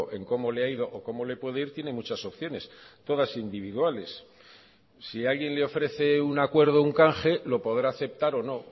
en cómo le ha ido o cómo le puede ir tiene muchas opciones todas individuales si alguien le ofrece un acuerdo un canje lo podrá aceptar o no